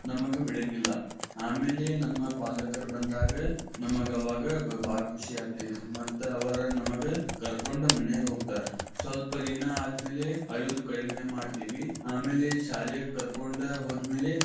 ನಮಗ್ ಬಿಡಂಗಿಲ್ಲಾ ಆಮೇಲೆ ನಮ್ಮ ಪಾಲಕರ್ ಬಂದಾಗ ನಮಗ ಆವಾಗ ಬಾಳ್ ಖುಷಿ ಆಕ್ತೈತಿ. ಮತ್ತ್ ಅವರ್ ನಮಗ್ ಕರ್ಕೊಂಡ್ ಮನಿಗೆ ಹೊಕ್ತಾರ. ಸ್ವಲ್ಪ ದಿನಾ ಆದ್ ಮ್ಯಾಲೆ ಅಳುದ ಕಡಿಮೆ ಮಾಡ್ತೀವಿ. ಆಮೇಲೆ ಶಾಲೆಗ್ ಕರ್ಕೊಂಡ ಹೋದ್ಮೇಲೆ.